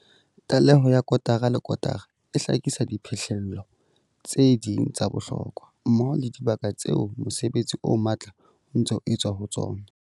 Tlaleho ya kotara le kotara e hlakisa diphihlello tse ding tsa bohlokwa, mmoho le dibaka tseo mosebetsi o matla o ntseng o etswa ho tsona.